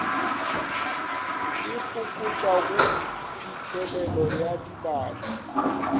e fokotšago phitlhelelo ya dibaka